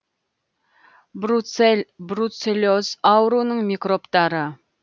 бруцелл бруцеллез ауруының микробтары